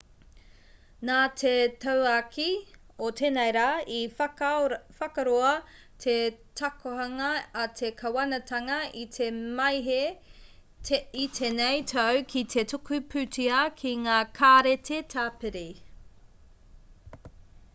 nā te tauākī o tēnei rā i whakaroa te takohanga a te kāwanatanga i te māehe i tēnei tau ki te tuku pūtea ki ngā kāreti tāpiri